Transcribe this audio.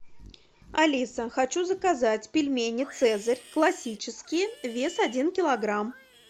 алиса хочу заказать пельмени цезарь классические вес один килограмм